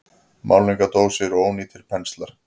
Málningardósir og ónýtir penslar.